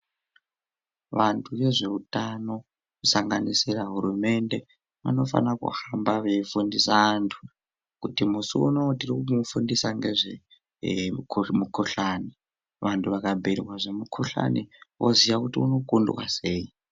Vantu vezveutano kusanganisira hurumende vanofana kuhamba veifundiswa antu kuti musi unowu tirikufundisa ngezvemukhuhlani vanhu vakabhirwa zvemukhuhlani vozoya kuti unokundwa sei.